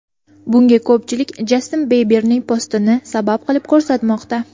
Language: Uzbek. Bunga ko‘pchilik Jastin Biberning postini sabab qilib ko‘rsatmoqda.